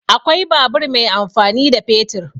Akwai babur mai amfani da fetur.